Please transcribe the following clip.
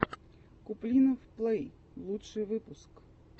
куплинов плэй лучший выпуск